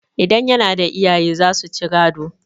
idan yana da iyaye za su ci gado